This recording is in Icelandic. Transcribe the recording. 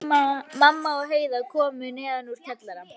Mamma og Heiða komu neðan úr kjallara.